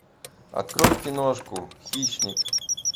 открой киношку хищник